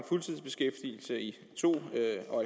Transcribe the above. fuldtidsbeskæftigelse i to en